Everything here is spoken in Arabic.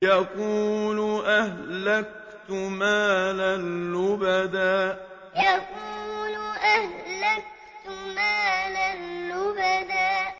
يَقُولُ أَهْلَكْتُ مَالًا لُّبَدًا يَقُولُ أَهْلَكْتُ مَالًا لُّبَدًا